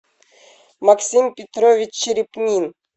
максим петрович черепнин